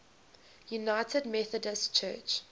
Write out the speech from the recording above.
united methodist church